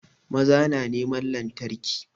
Maza na neman lantarki